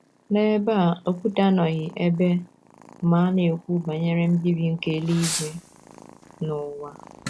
N’ebe a, Okwute anọghị ebe ma ana-ekwu banyere mbibi nke eluigwe na ụwa.